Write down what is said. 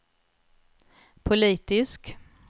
politisk